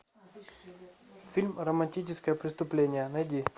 фильм романтическое преступление найди